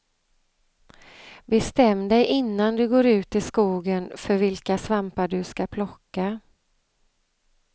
Bestäm dig innan du går ut i skogen för vilka svampar du ska plocka.